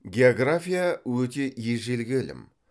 география өте ежелгі ілім